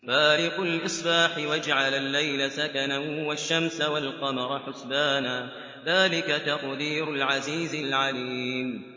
فَالِقُ الْإِصْبَاحِ وَجَعَلَ اللَّيْلَ سَكَنًا وَالشَّمْسَ وَالْقَمَرَ حُسْبَانًا ۚ ذَٰلِكَ تَقْدِيرُ الْعَزِيزِ الْعَلِيمِ